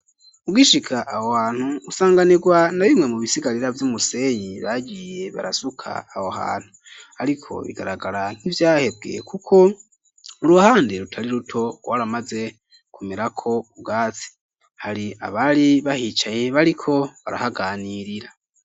Ugishika aho hantu usanganirwa na bimwe mu bisigarira vy'umusenyi ragiye barasuka awo hantu, ariko bigaragara nk'ivyahebwie, kuko uruhande rutari ruto rwaramaze kumerako ku bwatsi hari abari bahicaye bariko barahaganirira.